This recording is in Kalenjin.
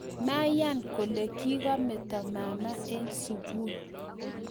Mayan kole kikameto mama eng sukul.